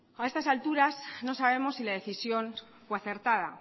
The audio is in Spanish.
a estas alturas no sabemos si la decisión fue acertada